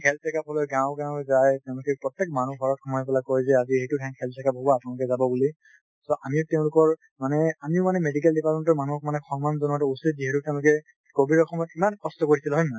health checkup কৰিব গাঁৱে গাঁৱে যায় তেওঁলোকে প্ৰত্যেক মানুহৰ ঘৰত সোমাই পেলাই কয় যে আজি এইটো ঠাইত health checkup হব আপোনালোক যাব বুলি , so আমি তেওঁলোকৰ মানে আমি মানে medical department ৰ মানুহক মানে সন্মান জনোৱাটো উচিত যিহেতু তেওঁলোকে কভিদৰ সময়ত ইমান কষ্ট কৰিছিল , হয় নে নাই?